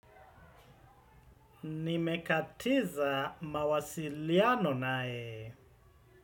Nimekatiza mawasiliano naye.